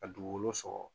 A dugukolo sɔrɔ